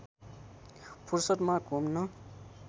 फुर्सदमा घुम्न